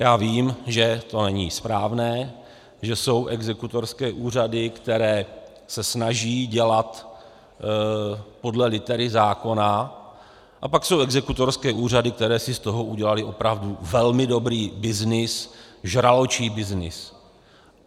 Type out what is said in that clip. Já vím, že to není správné, že jsou exekutorské úřady, které se snaží dělat podle litery zákona, a pak jsou exekutorské úřady, které si z toho udělaly opravdu velmi dobrý byznys, žraločí byznys.